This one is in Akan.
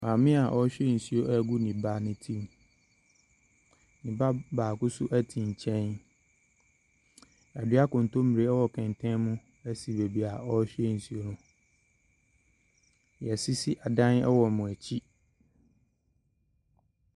Maame a ɔrehwie nso agu ne ba no tirim. Ne ba baako nso te nkyɛn. Wɔadua nkontommiere wɔ kɛntɛn mu si baabi a ɔrehwie nsuo no. wɔasisi adan wɔ wɔn akyi.